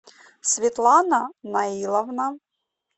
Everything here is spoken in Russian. светлана наиловна